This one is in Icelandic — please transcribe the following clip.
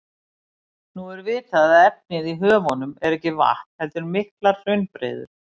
Nú er vitað að efnið í höfunum er ekki vatn heldur miklar hraunbreiður.